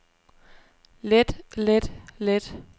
let let let